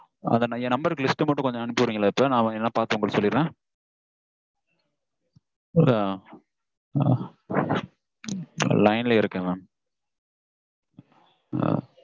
அதா என் number list மட்டும் அனுப்பிச்சுவிடுறீங்களா இப்போ? நா பாத்து மட்டும் சொல்லிடறேன். line லயே இருக்கேன் mam